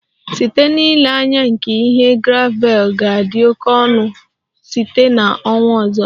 Site n'ile anya nke ihe, gravel ga-adị oke ọnụ site na ọnwa ọzọ